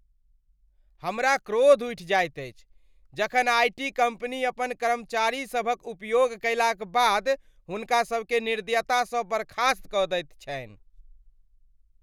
हमरा क्रोध उठि जाइत अछि जखन आई टी कम्पनी अपन कर्मचारीसभक उपयोग कयलाक बाद हुनका सभकेँ निर्दयतासँ बर्खास्त कऽ दैत छन्हि।